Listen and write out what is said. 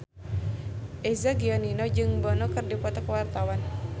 Eza Gionino jeung Bono keur dipoto ku wartawan